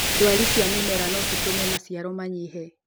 ndwari cia mĩmera no citũme maciaro manyihe